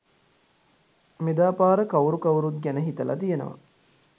මෙදාපාර කවුරු කවුරුත් ගැන හිතල තියනව!